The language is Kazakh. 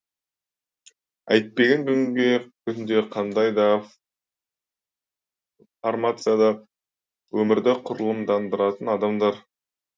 әйтпеген күнде қандай да формацияда өмірді құрылымдандыратын адамдар